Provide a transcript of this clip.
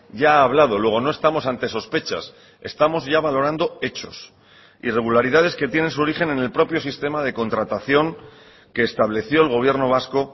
ya ha hablado luego no estamos ante sospechas estamos ya valorando hechos irregularidades que tienen su origen en el propio sistema de contratación que estableció el gobierno vasco